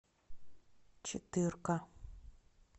четырка